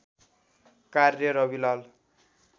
कार्य रविलाल